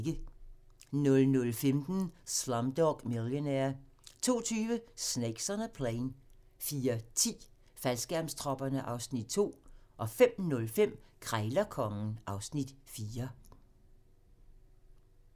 00:15: Slumdog Millionaire 02:20: Snakes on a Plane 04:10: Faldskærmstropperne (Afs. 2) 05:05: Krejlerkongen (Afs. 4)